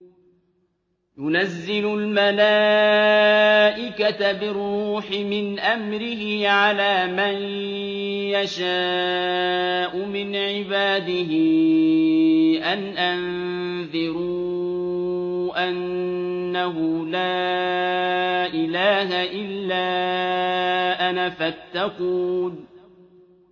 يُنَزِّلُ الْمَلَائِكَةَ بِالرُّوحِ مِنْ أَمْرِهِ عَلَىٰ مَن يَشَاءُ مِنْ عِبَادِهِ أَنْ أَنذِرُوا أَنَّهُ لَا إِلَٰهَ إِلَّا أَنَا فَاتَّقُونِ